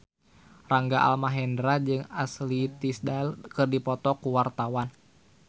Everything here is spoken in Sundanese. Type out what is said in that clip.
Rangga Almahendra jeung Ashley Tisdale keur dipoto ku wartawan